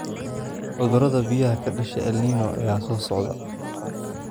Cudurada biyaha ka dhasha El Niño ayaa soo socda.